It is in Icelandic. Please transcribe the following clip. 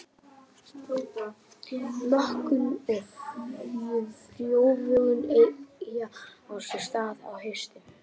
Mökun og frjóvgun eggja á sér stað á haustin.